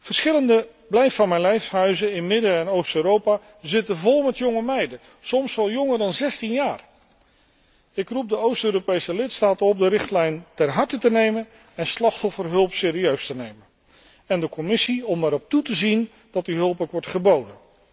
Verschillende blijf van mijn lijfhuizen in Midden en Oost Europa zitten vol met jonge meisjes, soms wel jonger dan 16 jaar. Ik roep de Oost Europese lidstaten op de richtlijn ter harte te nemen en slachtofferhulp serieus te nemen, en de Commissie om erop toe te zien dat die hulp ook wordt geboden.